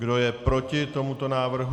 Kdo je proti tomuto návrhu?